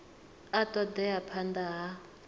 a ṱo ḓea phanḓa ha